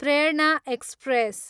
Prerana express